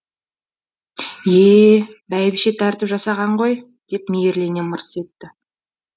е е бәйбіше тәртіп жасаған ғой деп мейірлене мырс етті